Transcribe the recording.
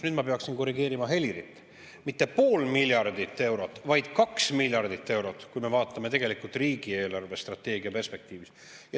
Nüüd ma peaksin korrigeerima Helirit: mitte pool miljardit eurot, vaid 2 miljardit eurot, kui me vaatame riigi eelarvestrateegia perspektiivis.